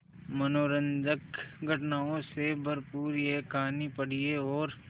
मनोरंजक घटनाओं से भरपूर यह कहानी पढ़िए और